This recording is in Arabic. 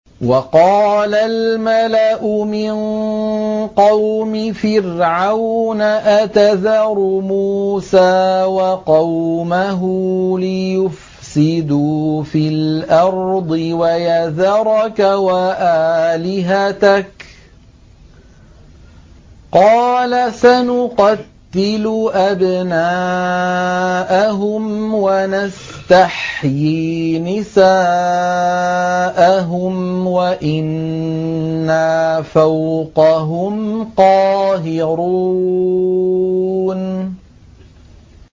وَقَالَ الْمَلَأُ مِن قَوْمِ فِرْعَوْنَ أَتَذَرُ مُوسَىٰ وَقَوْمَهُ لِيُفْسِدُوا فِي الْأَرْضِ وَيَذَرَكَ وَآلِهَتَكَ ۚ قَالَ سَنُقَتِّلُ أَبْنَاءَهُمْ وَنَسْتَحْيِي نِسَاءَهُمْ وَإِنَّا فَوْقَهُمْ قَاهِرُونَ